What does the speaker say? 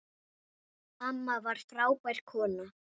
Amma var frábær kona.